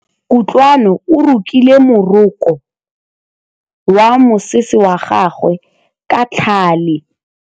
Kutlwanô o rokile morokô wa mosese wa gagwe ka tlhale.